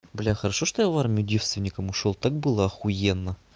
бля хорошо что я в армию девствеником ушёл так было ахуенно